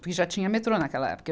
porque já tinha metrô naquela época. Eu